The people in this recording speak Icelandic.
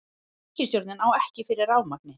Ríkisstjórnin á ekki fyrir rafmagni